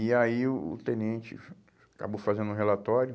E aí o o tenente acabou fazendo um relatório,